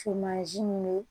Sumansi min